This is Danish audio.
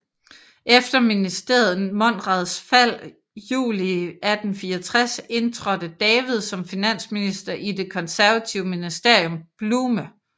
Efter ministeriet Monrads fald juli 1864 indtrådte David som finansminister i det konservative ministerium Bluhme